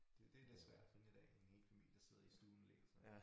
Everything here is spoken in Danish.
Det det lidt svært at finde i dag en hel familie der sidder i stuen og læser